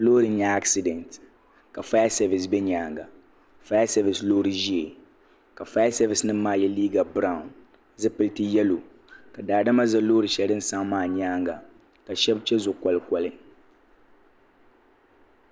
Loori n nya aksidenti ka fayasevis be nyaanga fayasevis loori ʒee ka fayasevis nima maa ye liiga biraw zipilti yelo ka daadama ʒɛ loori sheli din saɣim maa nyaanga ka sheba che zuɣu kolikoli .